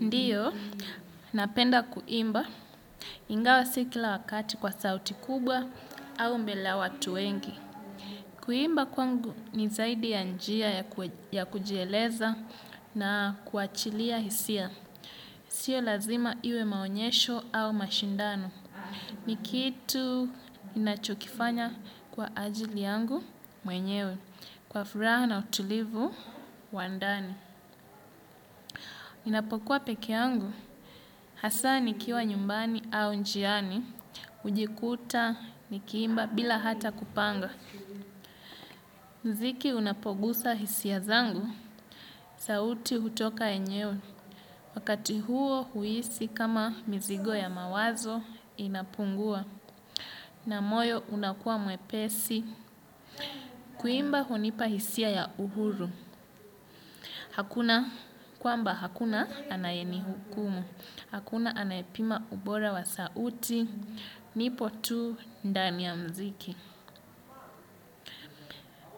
Ndiyo, napenda kuimba, ingawa si kila wakati kwa sauti kubwa au mbele watu wengi. Kuimba kwangu ni zaidi ya njia ya kujieleza na kuachilia hisia. Sio lazima iwe maonyesho au mashindano. Ni kitu ninachokifanya kwa ajili yangu mwenyewe kwa furaha na utulivu wa ndani. Ninapokuwa pekee yangu, hasa nikiwa nyumbani au njiani, hujikuta, nikiimba, bila hata kupanga. Muziki unapogusa hisia zangu, sauti hutoka yenyewe, wakati huo huhisi kama mizigo ya mawazo inapungua, na moyo unakua mwepesi, kuimba hunipa hisia ya uhuru. Hakuna kwamba hakuna anayenihukumu. Hakuna anayepima ubora wa sauti, nipo tu, ndani ya mziki.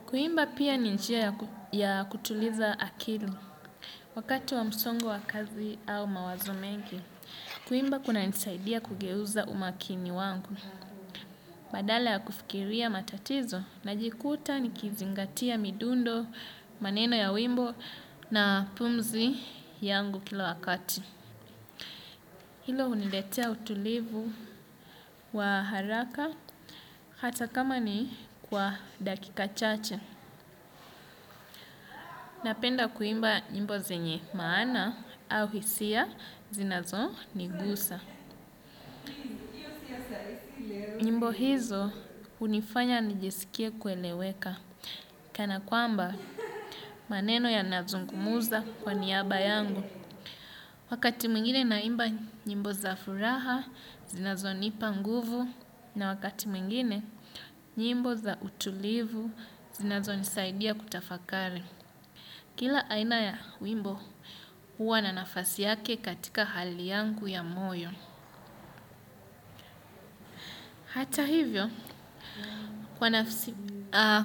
Kuimba pia ni njia ya kutuliza akili. Wakati wa msongo wa kazi au mawazo mengi, kuimba kunanisaidia kugeuza umakini wangu. Badala ya kufikiria matatizo, najikuta nikizingatia midundo, maneno ya wimbo na pumzi yangu kila wakati. Hilo huniletea utulivu wa haraka hata kama ni kwa dakika chache. Napenda kuimba nyimbo zenye maana au hisia zinazonigusa. Nyimbo hizo hunifanya nijisikie kueleweka. Kana kwamba maneno yanazungumuza kwa niaba yangu. Wakati mwingine naimba nyimbo za furaha, zinazonipa nguvu. Na wakati mwingine, nyimbo za utulivu zinazonisaidia kutafakari. Kila aina ya wimbo, huwa na nafasi yake katika hali yangu ya moyo. Hata hivyo,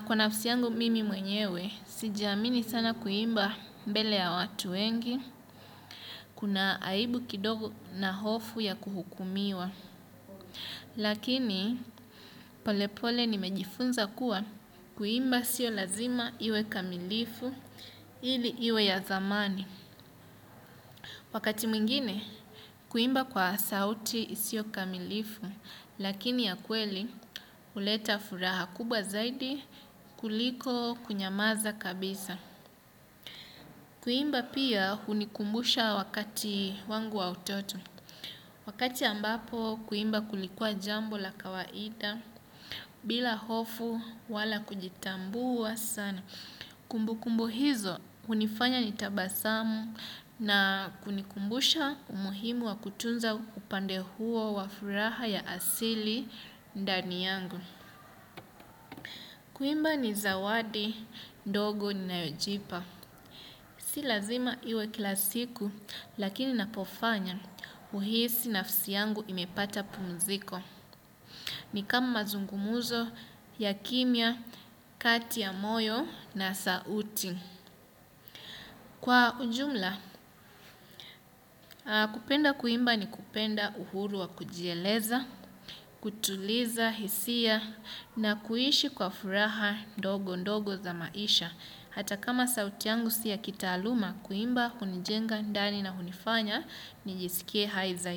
kwa nafsi yangu mimi mwenyewe, sijaamini sana kuimba mbele ya watu wengi. Kuna aibu kidogo na hofu ya kuhukumiwa. Lakini polepole nimejifunza kuwa kuimba sio lazima iwe kamilifu ili iwe ya zamani. Wakati mwingine kuimba kwa sauti isiyo kamilifu. Lakini ya kweli huleta furaha kubwa zaidi kuliko kunyamaza kabisa. Kuimba pia hunikumbusha wakati wangu wa utoto. Wakati ambapo kuimba kulikuwa jambo la kawaida, bila hofu wala kujitambua sana. Kumbukumbu hizo, hunifanya nitabasamu na kunikumbusha umuhimu wa kutunza upande huo wa furaha ya asili ndani yangu. Kuimba ni zawadi, ndogo ninayojipa. Si lazima iwe kila siku lakini ninapofanya huhisi nafsi yangu imepata pumziko. Ni kama mazungumzo, ya kimya, kati ya moyo na sauti. Kwa ujumla, kupenda kuimba ni kupenda uhuru wa kujieleza, kutuliza, hisia na kuishi kwa furaha ndogo ndogo za maisha. Hata kama sauti yangu si ya kitaaaluma, kuimba, hunijenga, ndani na hunifanya, nijisikie hai zaidi.